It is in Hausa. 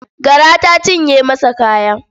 Gara ta cinye masa kaya.